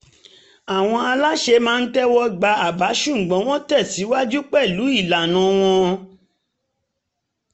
àwọn aláṣẹ maa ń tẹ̀wọ́ gba àbá ṣùgbọ́n wọ́n tẹ̀síwájú pẹ̀lú ìlànà wọn